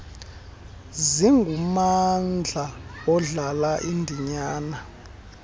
singummandla odlala indinyana